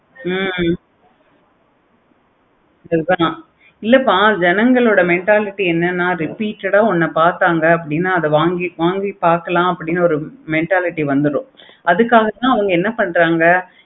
ஹம் அதான் இல்லப்பா ஜனகளோட mentality என்னென்ன அது உன்ன பார்த்தாங்க அத வாங்கி பார்க்கலாம். அப்படின்னு ஒரு mentality வந்துரும். அதுக்காக தான் என்ன பண்றாங்க